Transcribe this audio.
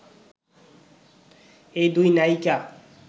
এই দুই নায়িকা